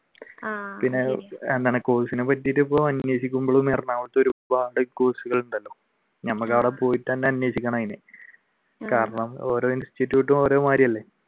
ആഹ് പിന്നെ അങ്ങനെ course നെ പറ്റിയിട്ട് ഇപ്പൊ അന്വേഷിക്കുമ്പോഴും ഞമ്മക്ക് അവിടെ പോയി തന്നെ അന്വേഷിക്കണം അതിന് കാരണം ഓരോ institute ഉം ഓരോ മാതിരിയല്ലേ.